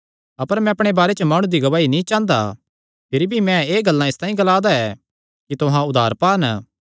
अपर मैं अपणे बारे च माणु दी गवाही नीं चांह़दा भिरी भी मैं एह़ गल्लां इसतांई ग्लांदा ऐ कि तुहां उद्धार पान